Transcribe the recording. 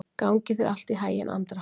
Gangi þér allt í haginn, Andra.